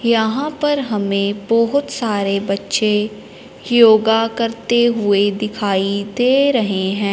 यहां पर हमें बहोत सारे बच्चे योगा करते हुए दिखाई दे रहे हैं।